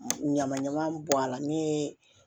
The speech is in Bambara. Ɲama ɲama bɔ a la min ye